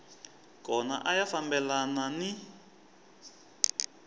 kona a ya fambelani ni